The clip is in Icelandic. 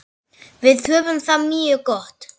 Við höfum það mjög gott.